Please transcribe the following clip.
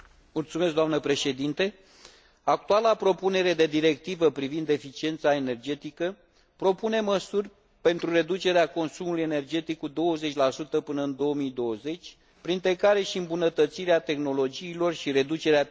Actuala propunere de directivă privind eficiența energetică propune măsuri pentru reducerea consumului energetic cu 20 până în 2020, printre care și îmbunătățirea tehnologiilor și reducerea pierderilor din sistemele energetice.